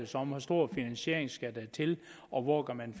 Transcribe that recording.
sig om hvor stor finansiering der skal til og hvor man